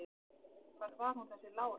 Hver var hún þessi Lára?